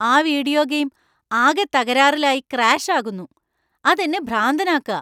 ആ video game ആകെ തകരാറിലായി ക്രാഷ് ആകുന്നു. അത് എന്നെ ഭ്രാന്തനാക്കാ.